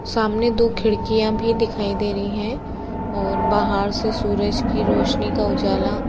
सामने दो खिड़कियां भी दिखाई दे रही हैं और बाहर सूरज की रोशनी का उजाला।